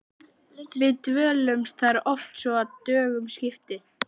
Við dvöldumst þar oft svo að dögum skipti.